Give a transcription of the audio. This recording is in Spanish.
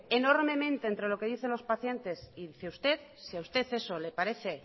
enormemente entre lo que dice los pacientes y dice usted si a usted eso le parece